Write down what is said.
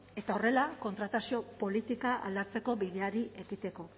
eta horrela kontratazio politika aldatzeko bideari ekiteko